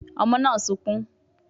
Ọmọ náà sunkún